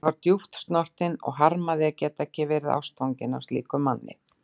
Ég var djúpt snortin og harmaði að geta ekki verið ástfangin af slíkum manni.